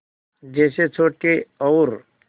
जैसे छोटे और